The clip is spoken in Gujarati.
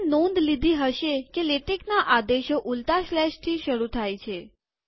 તમે નોંધ લીધી હશે કે લેટેકના આદેશો ઉલટા સ્લેશથી શરુ થાય છે